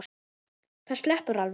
Það sleppur alveg.